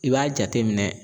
I b'a jateminɛ